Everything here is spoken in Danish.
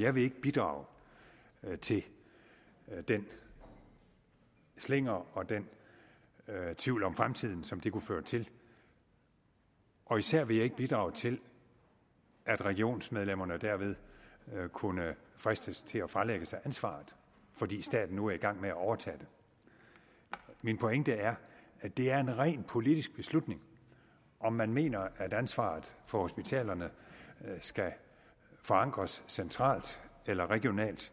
jeg vil ikke bidrage til den slinger og den tvivl om fremtiden som det kunne føre til og især vil jeg ikke bidrage til at regionsmedlemmerne derved kunne fristes til at fralægge sig ansvaret fordi staten nu er i gang med at overtage det min pointe er at det er en rent politisk beslutning om man mener at ansvaret for hospitalerne skal forankres centralt eller regionalt